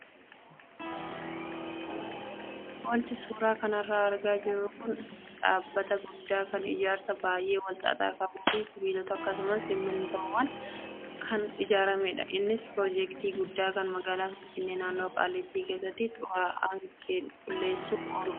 Wanti suuraa kanarraa argaa jirru kun dhaabbata guddaa kan ijaarsa baay'ee wal xaxaa qabuu fi sibiilota akkasumas simmintoodhaan kan ijaaramedha. Innis piroojeektii guddaa kan magaalaa finfinnnee naannoo Qaallittii keessatti xuraa'aa qulleessuuf ooludha.